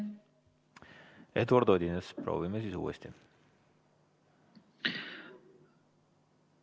Eduard Odinets, proovime siis uuesti!